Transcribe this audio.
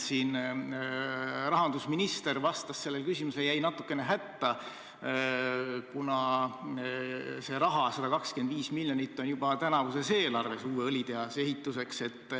Siin rahandusminister vastas sellele küsimusele ja jäi natukene hätta, kuna see raha, 125 miljonit, on juba tänavuses eelarves uue õlitehase ehituseks.